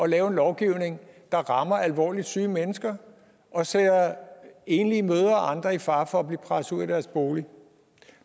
lave en lovgivning der rammer alvorligt syge mennesker og sætter enlige mødre og andre i fare for at blive presset ud af deres bolig